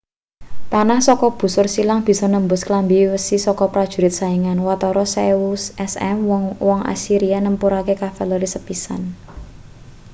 panah saka busur silang bisa nembus klambi wesi saka prajurit saingan watara 1000 sm wong-wong assyria nepungake kavaleri sepisan